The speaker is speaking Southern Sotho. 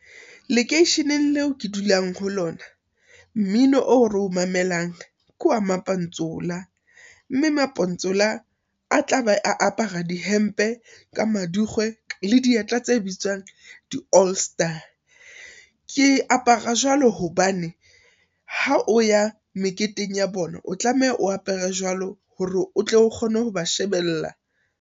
Lekeisheneng leo ke dulang ho lona, mmino o re o mamelang ke wa mapantsula mme mapantsula a tlabe a apara di hempe ka madikgwe le di dieta tse bitswang di-All Star. Ke apara jwalo hobane, ha o ya meketeng ya bona o tlameha o apare jwalo hore o tle o kgona ho ba shebella.